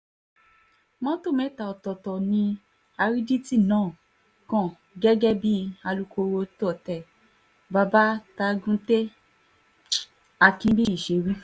mọ́tò mẹ́ta ọ̀tọ̀ọ̀tọ̀ ni àrídìtì náà kàn gẹ́gẹ́ bí alūkkóró tôte babatagùntẹ àkínbíyí ṣe wí